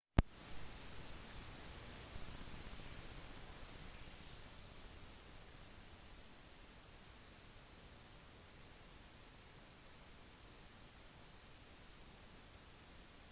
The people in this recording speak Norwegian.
en reisende som er full av penger kan kanskje vurdere en runde med verdenflyvning delt opp med opphold på mange av disse hotellene